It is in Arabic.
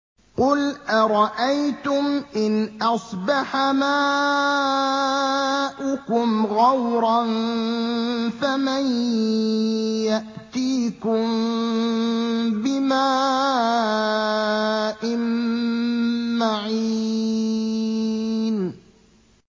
قُلْ أَرَأَيْتُمْ إِنْ أَصْبَحَ مَاؤُكُمْ غَوْرًا فَمَن يَأْتِيكُم بِمَاءٍ مَّعِينٍ